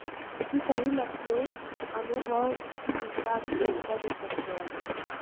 ये सभी मसले अनुभवहीनता की उपज हो सकते हैं